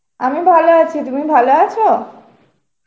আমি ভালো আছি, তুমি ভালো আছো?